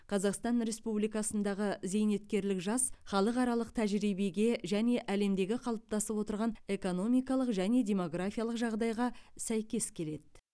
қазақстан республикасындағы зейнеткерлік жас халықаралық тәжірибеге және әлемдегі қалыптасып отырған экономикалық және демографиялық жағдайға сәйкес келеді